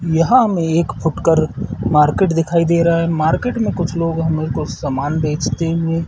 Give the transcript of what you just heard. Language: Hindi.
यहाँ हमें एक फुटकर मार्किट दिखाई दे रहा है मार्किट में कुछ लोग हमें कुछ सामन बेचते हुए--